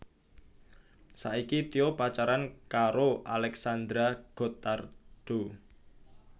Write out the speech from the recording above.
Saiki Tyo pacaran karo Alexandra Gottardo